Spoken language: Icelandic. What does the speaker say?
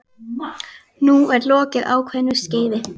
Nú er lokið ákveðnu skeiði.